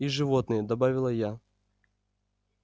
и животные добавила я